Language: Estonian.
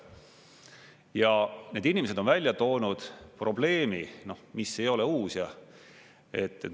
Ja need inimesed on välja toonud probleemi, mis ei ole uus.